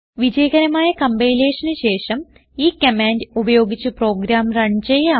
വിജയകരമായ compilationന് ശേഷം ഈ കമാൻഡ് ഉപയോഗിച്ച് പ്രോഗ്രാം റൺ ചെയ്യാം